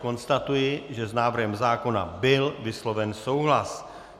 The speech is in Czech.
Konstatuji, že s návrhem zákona byl vysloven souhlas.